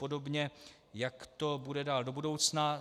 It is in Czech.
Podobně, jak to bude dál do budoucna.